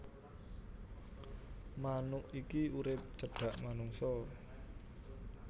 Manuk iki urip cedhak manungsa